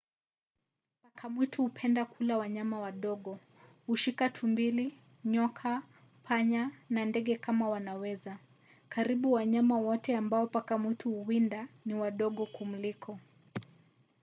paka mwitu hupenda kula wanyama wadogo. hushika tumbili nyoka panya na ndege kama wanaweza. karibu wanyama wote ambao paka mwitu huwinda ni wadogo kumliko